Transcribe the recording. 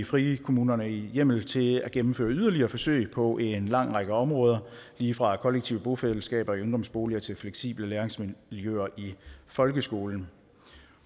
frikommunerne hjemmel til at gennemføre yderligere forsøg på en lang række områder lige fra kollektive bofællesskaber i ungdomsboliger til fleksible læringsmiljøer i folkeskolen